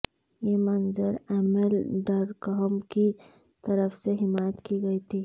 یہ منظر Emile Durkheim کی طرف سے حمایت کی گئی تھی